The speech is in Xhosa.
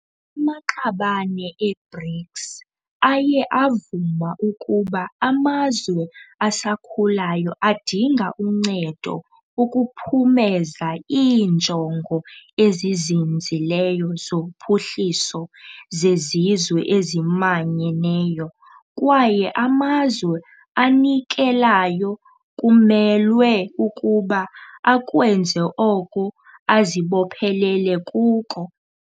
Amaqabane e-BRICS aye avuma ukuba amazwe asakhulayo adinga uncedo ukuphumeza iiNjongo eziZinzileyo zoPhuhliso zeZizwe eziManyeneyo, kwaye amazwe anikelayo kumelwe ukuba akwenze oko azibophelele kuko.